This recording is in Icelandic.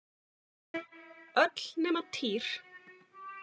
Öll nema Týr.